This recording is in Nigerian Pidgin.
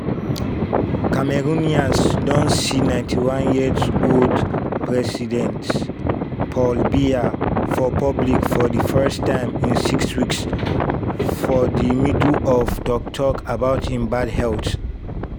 cameroonians don see 91-year-old president paul biya for public for di first time in six weeks for di middle of tok-tok about im bad health.